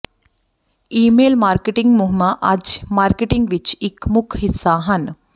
email marketing ਮੁਹਿੰਮਾਂ ਅੱਜ marketing ਵਿੱਚ ਇੱਕ ਮੁੱਖ ਹਿੱਸਾ ਹਨ